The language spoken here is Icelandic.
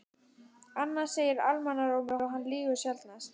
Annað segir almannarómur og hann lýgur sjaldnast.